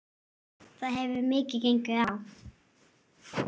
Það hefur gengið mikið á!